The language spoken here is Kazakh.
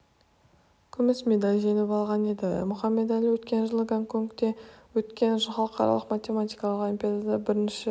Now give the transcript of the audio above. күмс медаль жеңіп алған еді мұхамед-әлі өткен жылы гонконгте өткен халықаралық математикалық олимпиадада да бірінші